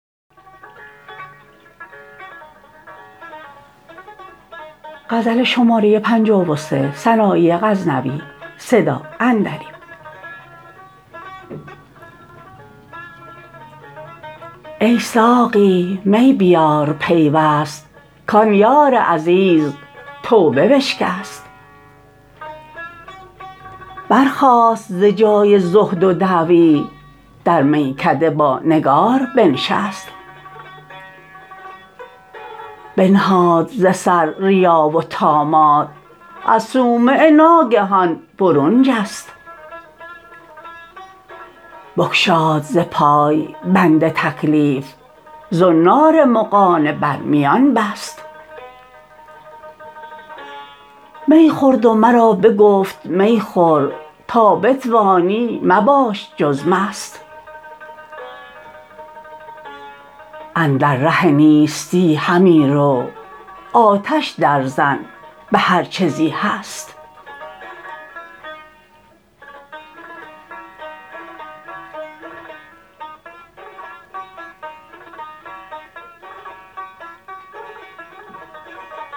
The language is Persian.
ای ساقی می بیار پیوست کان یار عزیز توبه بشکست برخاست ز جای زهد و دعوی در میکده با نگار بنشست بنهاد ز سر ریا و طامات از صومعه ناگهان برون جست بگشاد ز پای بند تکلیف زنار مغانه بر میان بست می خورد و مرا بگفت می خور تا بتوانی مباش جز مست اندر ره نیستی همی رو آتش در زن بهر چه زی هست